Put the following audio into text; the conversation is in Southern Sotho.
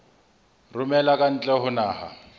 romela ka ntle ho naha